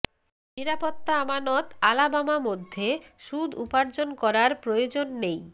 নিরাপত্তা আমানত আলাবামা মধ্যে সুদ উপার্জন করার প্রয়োজন নেই